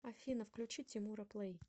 афина включи тимура плэй